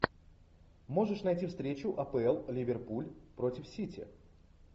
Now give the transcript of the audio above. можешь найти встречу апл ливерпуль против сити